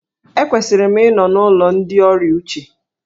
Ekwesịrị m ịnọ n'ụlọ ndị ọrịa uche.